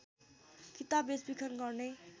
किताब बेचबिखन गर्ने